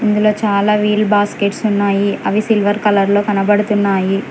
ఇందులో చాలా wheel baskets ఉన్నాయి అవి సిల్వర్ కలర్ లో కనబడుతున్నాయి.